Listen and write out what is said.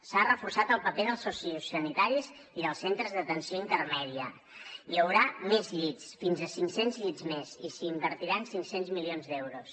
s’ha reforçat el paper dels sociosanitaris i dels centres d’atenció intermèdia hi haurà més llits fins a cinc cents llits més i s’hi invertiran cinc cents milions d’euros